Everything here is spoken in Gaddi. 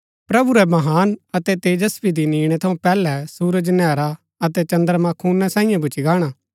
प्रभु रै महान अतै तेजस्वी दिन ईणै थऊँ पैहलै सुरज नैहरा अतै चद्रमां खूना साईयें भूच्ची गाणा